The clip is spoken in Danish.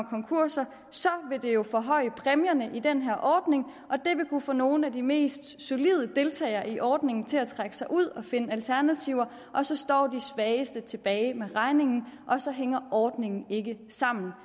konkurser vil det jo forhøje præmierne i den her ordning og det vil kunne få nogle af de mest solide deltagere i ordningen til at trække sig ud og finde alternativer og så står de svageste tilbage med regningen og så hænger ordningen ikke sammen